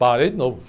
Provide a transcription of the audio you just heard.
Parei de novo.